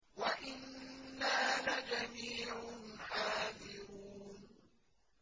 وَإِنَّا لَجَمِيعٌ حَاذِرُونَ